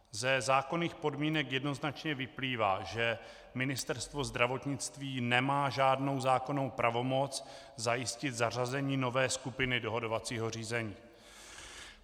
Ze zákonných podmínek jednoznačně vyplývá, že Ministerstvo zdravotnictví nemá žádnou zákonnou pravomoc zajistit zařazení nové skupiny dohodovacího řízení.